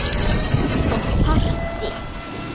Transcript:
Og partí.